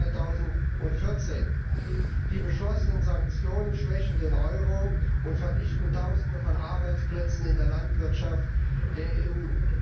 2014. Die beschlossenen Sanktionen schwächen den Euro und vernichten Tausende von Arbeitsplätzen in der Landwirtschaft der EU.